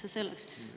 See selleks.